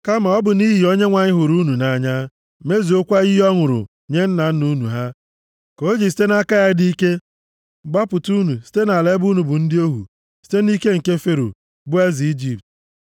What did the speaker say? Kama, ọ bụ nʼihi Onyenwe anyị hụrụ unu nʼanya, mezuokwa iyi ọ ṅụrụ nye nna nna unu ha, ka o ji site nʼaka ya dị ike gbapụta unu site nʼala ebe unu bụ ndị ohu, site nʼike nke Fero, bụ eze Ijipt.